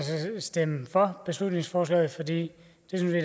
stemme for beslutningsforslaget det